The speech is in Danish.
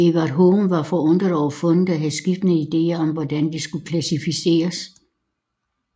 Everard Home var forundret over fundet og havde skiftende idéer om hvordan det skulle klassificeres